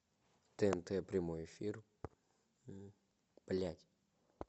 тнт прямой эфир блять